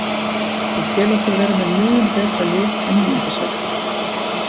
Ég tel okkur vera með mun betra lið en níunda sætið.